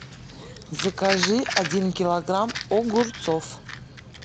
закажи один килограмм огурцов